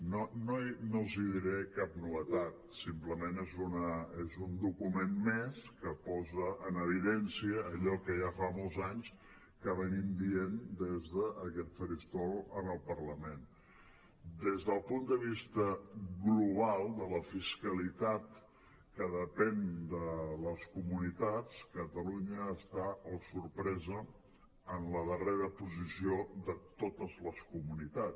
no els diré cap novetat simplement és un document més que posa en evidència allò que ja fa molts anys que diem des d’aquest faristol en el parlament des del punt de vista global de la fiscalitat que de·pèn de les comunitats catalunya està oh sorpresa en la darrera posició de totes les comunitats